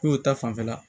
Ko ta fanfɛla